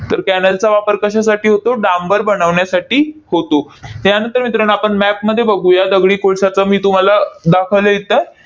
तर cannel चा वापर कशासाठी होतो? डांबर बनवण्यासाठी होतो. त्यानंतर मित्रांनो, आपण map मध्ये बघूया, दगडी कोळशाचा मी तुम्हाला दाखवायला